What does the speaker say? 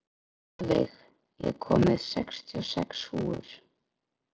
Mjaðveig, ég kom með sextíu og sex húfur!